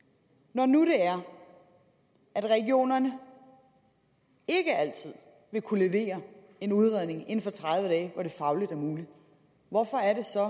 når nu det er at regionerne ikke altid vil kunne levere en udredning inden for tredive dage hvor det fagligt er muligt hvorfor er det så